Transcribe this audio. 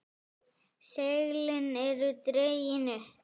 Seglin eru dregin upp.